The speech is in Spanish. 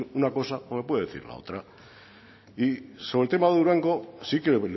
usted una cosa o me puede decir la otra y sobre el tema de durango sí que